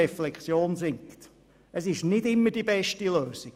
Die Zentralisierung ist nicht immer die beste Lösung.